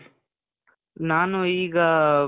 ನಾನೂ ಈಗಾ,